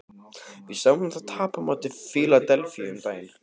Við sáum þá tapa á móti Fíladelfíu um daginn.